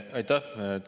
Aitäh!